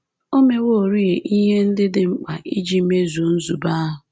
O meworị ihe ndị dị mkpa iji mezuo nzube ahụ